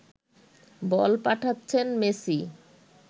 বল পাঠাচ্ছেন মেসি